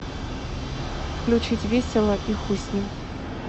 включить весело и хуй с ним